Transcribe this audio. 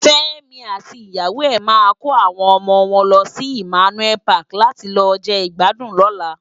Femi àti iyàwó è má kó áwòn òmò wòn lòsi Immanuel Pàki làti lò je igbàdún lòlá